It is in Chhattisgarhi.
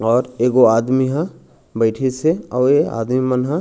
और एगो आदमी ह बैठिस आऊ ए आदमी मन ह--